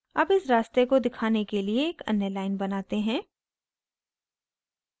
अब इस रास्ते को दिखाने के लिए एक अन्य line बनाते हैं